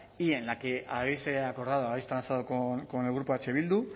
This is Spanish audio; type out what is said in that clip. y en la que habéis acordado habéis transado con el grupo eh bildu